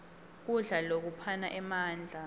kudla lokuphana emandla